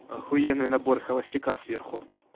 ахуенный набор холостяка сверху